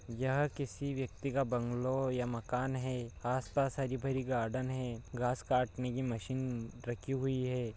यह किसी व्यक्ति का बंगलों या मकान है आस-पास हरी-भरी गार्डन है घास काटने की मशीन रखी हुई है।